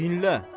Dinlə.